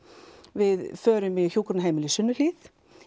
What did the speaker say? við förum í Hjúkrunarheimilið Sunnuhlíð